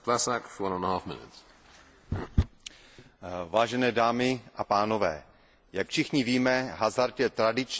Vážené dámy a pánové, jak všichni víme, hazard je tradičně přísně regulován ve většině států Evropské unie.